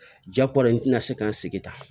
Jakole nan se ka n sigi tan